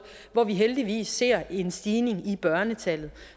hvor vi heldigvis ser en stigning i børnetallet